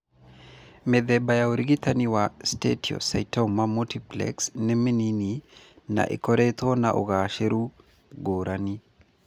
Mĩthemba ya ũrigitani wa steatocystoma multiplex nĩ mĩnini na ĩkoretwo na ũgaacĩru ngũrani.